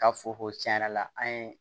Ka fo ko tiɲɛ yɛrɛ la an ye